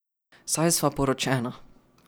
Saj sva poročena.